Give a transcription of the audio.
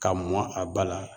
Ka mɔ a ba la